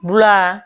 Bula